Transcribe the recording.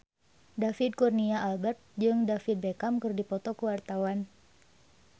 David Kurnia Albert jeung David Beckham keur dipoto ku wartawan